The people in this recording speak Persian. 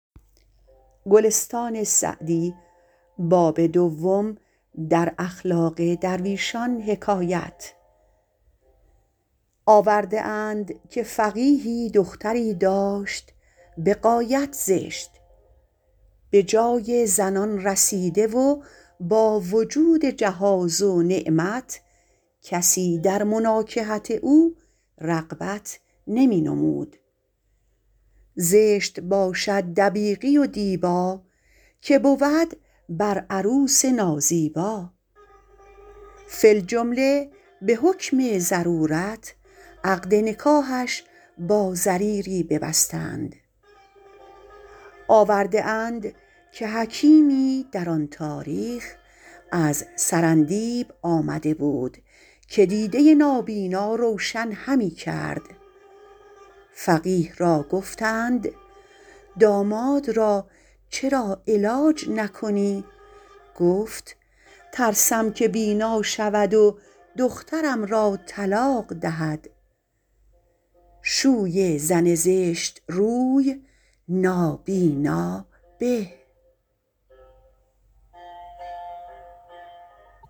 آورده اند که فقیهی دختری داشت به غایت زشت به جای زنان رسیده و با وجود جهاز و نعمت کسی در مناکحت او رغبت نمی نمود زشت باشد دبیقی و دیبا که بود بر عروس نازیبا فی الجمله به حکم ضرورت عقد نکاحش با ضریری ببستند آورده اند که حکیمی در آن تاریخ از سرندیب آمده بود که دیده نابینا روشن همی کرد فقیه را گفتند داماد را چرا علاج نکنی گفت ترسم که بینا شود و دخترم را طلاق دهد شوی زن زشت روی نابینا به